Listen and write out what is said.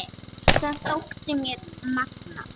Þetta þótti mér magnað.